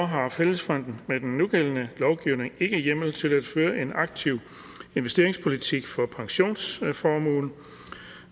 har fællesfonden med den nugældende lovgivning ikke hjemmel til at føre en aktiv investeringspolitik for pensionsformuen